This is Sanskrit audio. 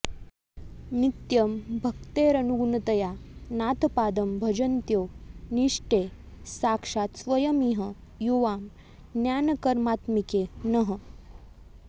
नित्यं भक्तेरनुगुणतया नाथपादं भजन्त्यौ निष्ठे साक्षात् स्वयमिह युवां ज्ञानकर्मात्मिके नः